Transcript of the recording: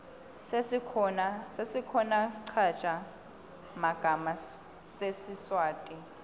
sesikhona schaza magama sesiswati